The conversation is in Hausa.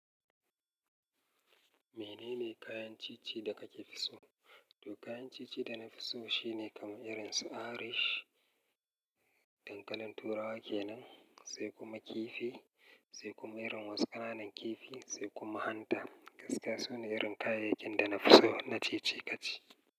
Menene kayan ci ci da kake so? To kayan ci ci dana fi so shine kamar irin su Irish, dankalin turawa kenan, sai kuma kifi, sai kuma irin wasu ƙananan kifi, sai kuma hanta. Gaskiya sune irin kayayyakin da na fi so na ci ci kaci.